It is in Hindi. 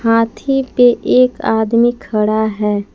हाथी पे एक आदमी खड़ा है।